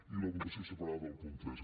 i la votació separada del punt tres